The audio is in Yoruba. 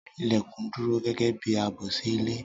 Ilèkùn dúró gẹ́gẹ́ bi ààbò sí ilé